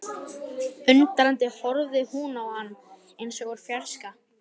Undrandi horfði hún á hann eins og úr fjarska.